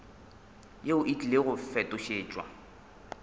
yeo e tlile go fetošetšwa